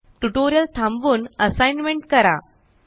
tutorial थांबवून assignment करा